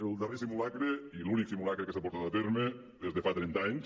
el darrer simulacre i l’únic simulacre que s’ha portat a terme és de fa trenta anys